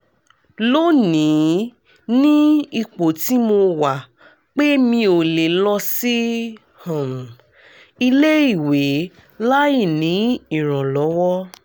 lónìí ni ipò tí mo wà pé mi ò lè lọ sí um ilé ìwẹ̀ láìní ìrànlọ́wọ́